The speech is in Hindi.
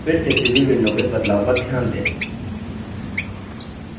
फिर से प्रीव्यू window में बदलाव पर ध्यान दें